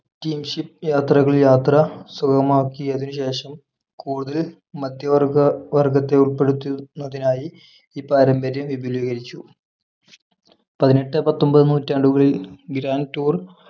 ship യാത്രകൾ യാത്ര സുഗമമാക്കിയതിനുശേഷം കൂടുതൽ മധ്യവർഗ മധ്യവർഗത്തെ ഉൾപ്പെടുത്തുന്നതിനായി ഈ പാരമ്പര്യം വിപുലീകരിച്ചു പതിനെട്ട് പത്തൊമ്പത് നൂറ്റാണ്ടുകളിൽ grand tour